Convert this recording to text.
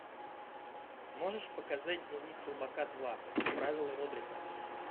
можешь показать дневник слабака два правила родрика